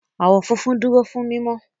Àwọ̀ funfun dúró fún mímọ́.